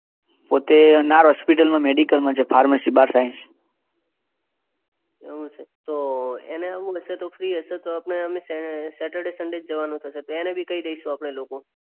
તો તે અનાર હોસ્પિટલ મેડિકલમાં છે ફાર્મશીમાં બાર સાયન્સ. એવું છે. તો એને આવું હશે તો ફ્રિ હશે તો આપણે સેટરડે સન્ડે જ જવાનું થશે તો એને બી કઈ દઇશું આપણે.